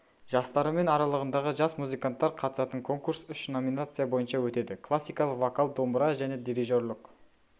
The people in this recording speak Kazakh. жастары мен аралығындағы жас музыканттар қатысатын конкурс үш номинация бойынша өтеді классикалық вокал домбыра және дирижерлік